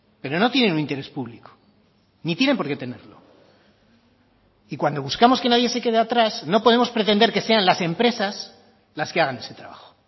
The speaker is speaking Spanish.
pero no tienen un interés público ni tienen por qué tenerlo y cuando buscamos que nadie se quede atrás no podemos pretender que sean las empresas las que hagan ese trabajo